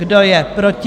Kdo je proti?